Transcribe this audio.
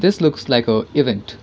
its looks like a event.